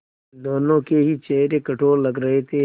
दोनों के ही चेहरे कठोर लग रहे थे